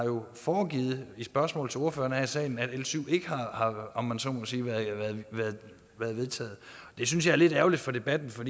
foregivet i spørgsmål til ordførerne her i salen at l syv ikke har om man så må sige været vedtaget det synes jeg er lidt ærgerligt for debatten for